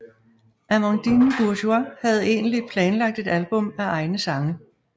Amandine Bourgeois havde egentlig planlagt et album af egne sange